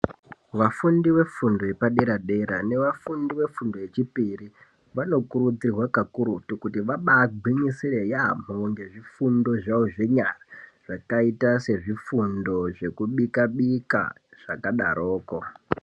Vafundi vefundo yepadera dera nevafundi vefundo yechipiri vanokurudzirwa kakurutu kuti vabagwinyisire yamho ngezvifundo zvavo zvenyara zvakaita sezvifundo zvekubika bika zvakadaroko.